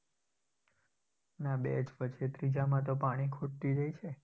ના બે જ પછી ત્રીજામાં તો પાણી ખૂટી જાય છે.